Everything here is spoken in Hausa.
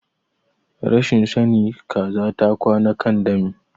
Rashin sani Kaza ta kwana kan dami.